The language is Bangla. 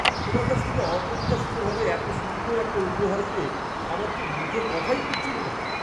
তোমার কাছ থেকে অপ্রত্যাশিতভাবে এত সুন্দর একটা উপহার পেয়ে আমার তো মুখে কথাই ফুটছিল না!